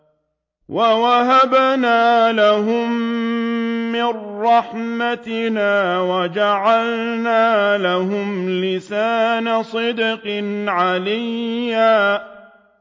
وَوَهَبْنَا لَهُم مِّن رَّحْمَتِنَا وَجَعَلْنَا لَهُمْ لِسَانَ صِدْقٍ عَلِيًّا